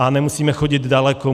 A nemusíme chodit daleko.